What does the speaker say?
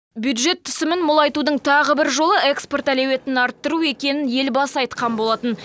бюджет түсімін молайтудың тағы бір жолы экспорт әлеуетін арттыру екенін елбасы айтқан болатын